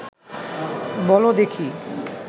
বল দেখি